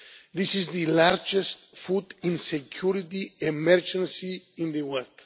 This is the largest food insecurity emergency in the world